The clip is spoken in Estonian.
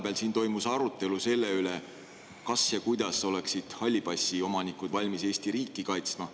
Vahepeal toimus siin arutelu selle üle, kas ja kuidas oleksid halli passi omanikud valmis Eesti riiki kaitsma.